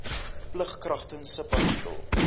plig kragtens subartikel